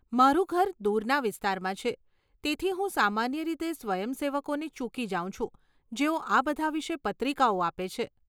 મારું ઘર દૂરના વિસ્તારમાં છે, તેથી હું સામાન્ય રીતે સ્વયંસેવકોને ચૂકી જાઉં છું જેઓ આ બધા વિશે પત્રિકાઓ આપે છે.